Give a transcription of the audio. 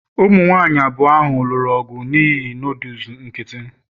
ụmụ nwanyị abụọ ahụ lụrụ ọgụ n'ihi noodles nkịtị